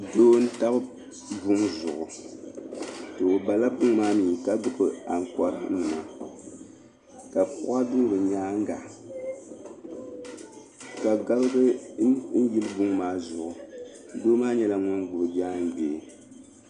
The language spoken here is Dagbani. Doo n-tam buŋa zuɣu. O bala buŋa maa mi ka gbibi aŋkɔranima ka kuɣa do bɛ nyaaŋga ka gabiga yili buŋa maa zuɣu. Doo maa nyɛla ŋun gbibi jaangbee.